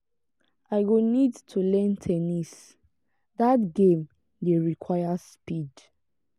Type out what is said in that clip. i go need to learn ten nis dat game dey require speed.